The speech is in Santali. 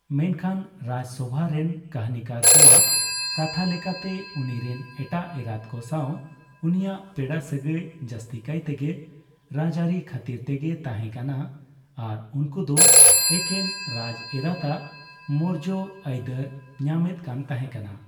ᱢᱮᱱᱠᱷᱟᱱ ᱨᱟᱡᱥᱚᱣᱟ ᱨᱮᱱ ᱠᱟᱹᱦᱱᱤᱠᱟᱨ ᱠᱚᱣᱟᱜ ᱠᱟᱛᱷᱟ ᱞᱮᱠᱟᱛᱮ, ᱩᱱᱤᱨᱮᱱ ᱮᱴᱟᱜ ᱮᱨᱟᱛ ᱠᱚ ᱥᱟᱣ ᱩᱱᱤᱭᱟᱜ ᱯᱮᱲᱟ ᱥᱟᱹᱜᱟᱹᱭ ᱡᱟᱹᱥᱛᱤ ᱠᱟᱭᱛᱮᱜᱮ ᱨᱟᱡᱟᱹᱨᱤ ᱠᱷᱟᱹᱛᱤᱨ ᱛᱮᱜᱮ ᱛᱟᱦᱮ ᱠᱟᱱᱟ ᱟᱨ ᱩᱱᱠᱩ ᱫᱚ ᱮᱠᱮᱱ ᱨᱟᱡᱮᱨᱟᱛᱼᱟᱜ ᱢᱚᱨᱡᱽ ᱟᱹᱭᱫᱟᱹᱨ ᱧᱟᱢᱮᱫ ᱠᱟᱱ ᱛᱟᱦᱮᱠᱟᱱᱟ ᱾